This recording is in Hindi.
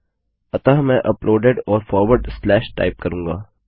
अतः मैं अपलोडेड और फॉरवर्ड स्लैश टाइप करूँगा